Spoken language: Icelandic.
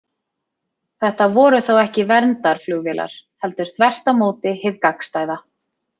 Þetta voru þá ekki verndarflugvélar, heldur þvert á móti hið gagnstæða.